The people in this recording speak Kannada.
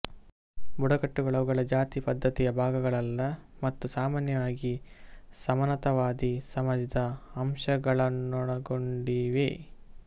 ಬುಡಕಟ್ಟುಗಳು ಅವುಗಳ ಜಾತಿ ಪದ್ದತಿಯ ಭಾಗಗಳಲ್ಲ ಮತ್ತು ಸಾಮಾನ್ಯವಾಗಿ ಸಮಾನತಾವಾದಿ ಸಮಾಜದ ಅಂಶಗಳನ್ನೊಳಗೊಂಡಿವೆ